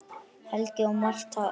Helgi og Martha Eiríks.